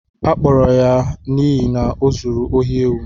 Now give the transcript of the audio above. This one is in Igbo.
A kpụrụrụ ya n'ihi na ọzụrụ ohị éwu